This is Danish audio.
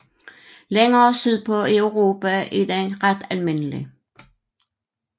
Længere sydpå i Europa er den ret almindelig